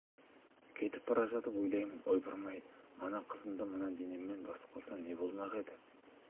кетіп бара жатып ойлаймын ойпырма-ай мана қызымды мына денеммен басып қалсам не болмақ еді